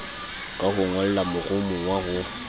ka ho ngolla moromowa ho